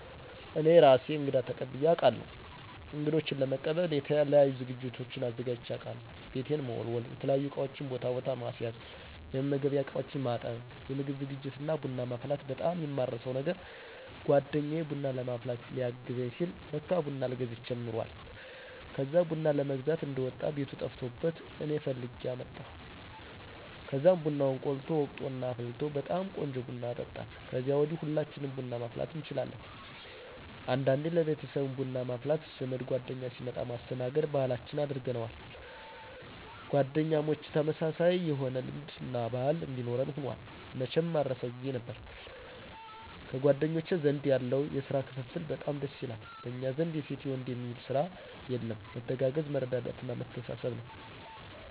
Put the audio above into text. እኔ እራሴ እንግዳ ተቀብየ አቃለሁ። እንግዶቸን ለመቀበል የተለያዩ ዝግጅቶችን አዘጋጅቸ አቃለሁ። ቤቴን መወላወል፣ የተለያዩ እቃወችን ቦታ ቦታ ማስያዝ፣ የመመገቢያ እቃወችን ማጠብ፣ የምግብ ዝግጅት እና ቡና ማፍላት በጣም የማረሳው ነገር! ጓደኛየ ቡና ለማፍላት ሊያገዘኝ ሲል ለካ ቡና አልገዝቸም ኑሯል። ከዛ ቡና ለመግዛት እንደወጣ ቤቱ ጠፍቶበት እኔ ፈልጌ አመጣሁ። ከዛም ቡናውን ቆልቶ፣ ወቅጦ እና አፍልቶ በጣም ቆንጆ ቡና አጠጣን። ከዛ ወዲ ሁላችንም ቡና ማፍላት እንችላለን። አንዳንዴ ለቤተሰብም ቡና ማፍላት ዘመድ ጓደኛ ሲመጣ ማስተናገድ ባህላችን አድርገነውል። ጓደኛሞች ተመሳሳይ የሆነ ልምድ እና ባህል እንዲኖረን ሁኗል። መቸም ማረሳው! ጊዜ ነበር። በጓደኞቸ ዘንድ ያለው የስራ ክፍፍል በጣም ደስ ይላል። በኛ ዘንድ የሴት የወንድ የሚል ስራ የለም። መተጋገዝ፣ መረዳዳት እና መተሳሰብ ባህላችን ነው።